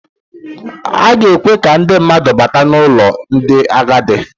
A ga-ekwe ka ndị mmadụ bata n'ụlọ ndị agadi.